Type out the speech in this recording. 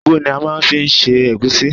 Ugwu ni a máa ń fi ń ṣe egusi.